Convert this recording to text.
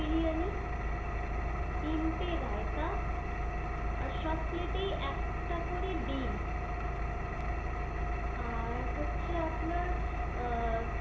বিরিয়ানি, তিন টে রায়তা আর সব plate এই একটা করে ডিম্আ র হচ্ছে আপনার,